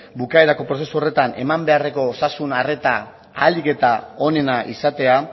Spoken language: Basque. bukaerako prozesu horretan eman beharreko osasun arreta ahalik eta onena izatea